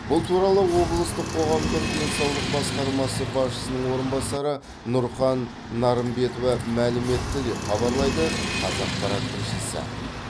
бұл туралы облыстық қоғамдық денсаулық басқармасы басшысының орынбасары нұрхан нарымбетова мәлім етті деп хабарлайды қазақпарат тілшісі